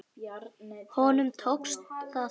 Honum tókst það þó ekki.